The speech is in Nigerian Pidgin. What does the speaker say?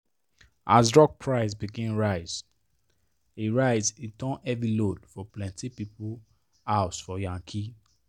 as drug price begin rise e rise e turn heavy load for plenty people house for yankee